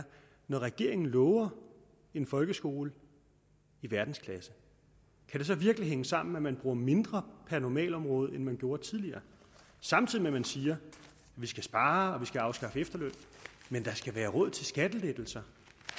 når regeringen lover en folkeskole i verdensklasse kan det så virkelig hænge sammen at man bruger mindre på normalområdet end man gjorde tidligere samtidig med at man siger vi skal spare vi skal afskaffe efterlønnen men der skal være råd til skattelettelser